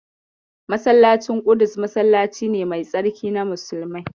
Masallacin ƙudus masallaci ne mai tsarki na musulmai.